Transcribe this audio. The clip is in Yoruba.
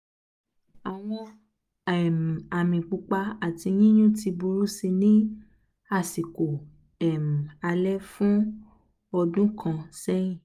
àwọn um àmì pupa ati yíyún ti burú si ní àsìkò um alẹ́ fún ọdún kan sẹ́yìn